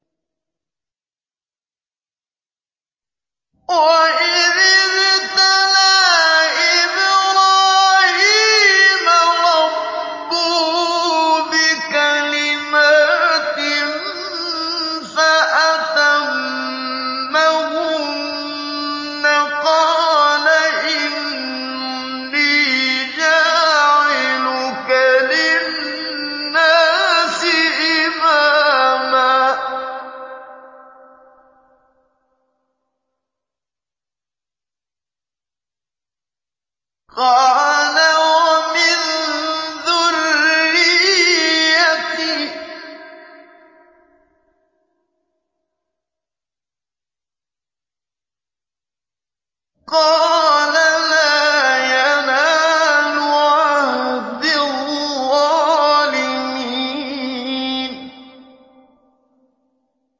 ۞ وَإِذِ ابْتَلَىٰ إِبْرَاهِيمَ رَبُّهُ بِكَلِمَاتٍ فَأَتَمَّهُنَّ ۖ قَالَ إِنِّي جَاعِلُكَ لِلنَّاسِ إِمَامًا ۖ قَالَ وَمِن ذُرِّيَّتِي ۖ قَالَ لَا يَنَالُ عَهْدِي الظَّالِمِينَ